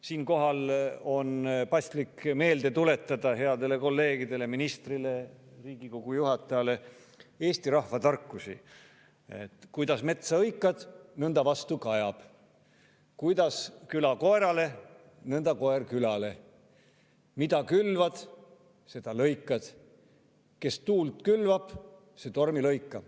Siinkohal on paslik headele kolleegidele, ministrile ja Riigikogu juhatajale meelde tuletada eesti rahvatarkusi: kuidas metsa hõikad, nõnda vastu kajab; kuidas küla koerale, nõnda koer külale; mida külvad, seda lõikad; kes tuult külvab, see tormi lõikab.